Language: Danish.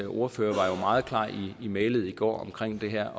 ordfører var jo meget klar i mælet i går omkring det her